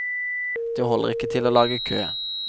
Det holder til ikke å lage kø.